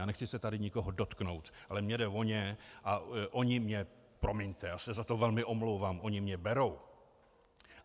A nechci se tady nikoho dotknout, ale mně jde o ně a oni mě, promiňte, já se za to velmi omlouvám, oni mě berou.